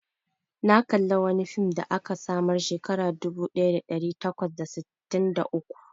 Na kalla wani fim da aka samar Shekara dubu daya da dari takwas da sitin da uku.